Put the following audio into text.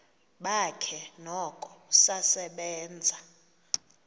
bakhe noko usasebenza